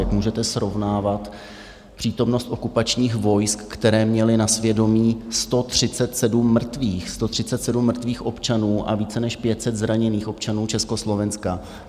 Jak můžete srovnávat přítomnost okupačních vojsk, která měla na svědomí 137 mrtvých občanů a více než 500 zraněných občanů Československa?